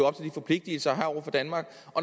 forpligtelser i har over for danmark